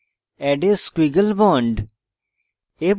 add a squiggle bond